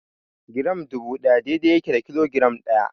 Giram dubu ɗaya daidai yake da kilogiram ɗaya.